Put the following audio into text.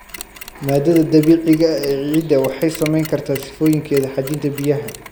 Maaddada dabiiciga ah ee ciidda waxay saameyn kartaa sifooyinkeeda xajinta biyaha.